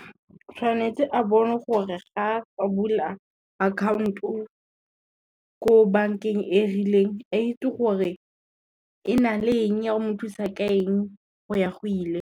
Tshwanetse a bone gore ga a bula account-o ko bankeng e rileng a itse gore, e na le eng ya o mo thusa ka eng go ya go ile.